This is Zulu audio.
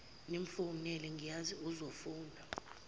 nimfowunele ngiyazi uzofuna